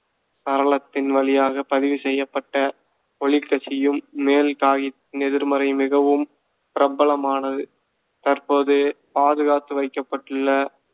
சாளரத்தின் வழியாக பதிவு செய்யப்பட்ட ஒளிக்கசியும் மேல் காகித எதிர்மறை மிகவும் பிரபலமானது. தற்போது பாதுகாத்து வைக்கப்பட்டுள்ள